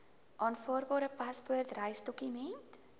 aanvaarbare paspoort reisdokument